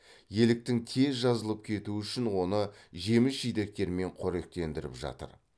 еліктің тез жазылып кетуі үшін оны жеміс жидектермен қоректендіріп жатыр